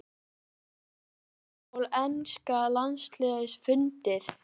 Er vandamál enska landsliðsins fundið?